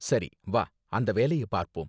சரி வா அந்த வேலைய பார்ப்போம்.